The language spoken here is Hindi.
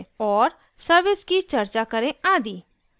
और सर्विस की चर्चा करें आदि